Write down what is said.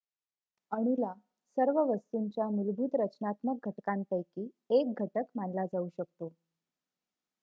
अणूला सर्व वस्तूंच्या मूलभूत रचनात्मक घटकांपैकी 1 घटक मानला जाऊ शकतो